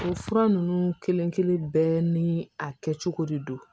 O fura ninnu kelen-kelen bɛɛ ni a kɛcogo de don